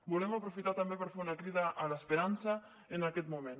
volem aprofitar també per fer una crida a l’esperança en aquest moment